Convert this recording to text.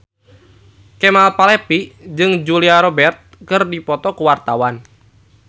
Kemal Palevi jeung Julia Robert keur dipoto ku wartawan